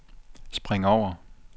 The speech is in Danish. spring over